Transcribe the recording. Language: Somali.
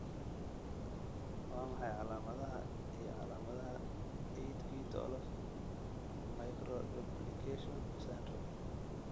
Waa maxay calaamadaha iyo calaamadaha 8q12 microduplication syndrome?